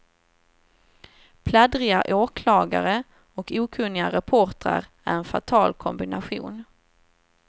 Pladdriga åklagare och okunniga reportrar är en fatal kombination.